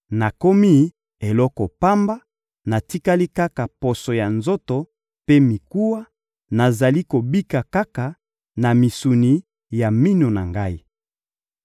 nakomi eloko pamba, natikali kaka poso ya nzoto mpe mikuwa, nazali kobika kaka na misuni ya minu na ngai.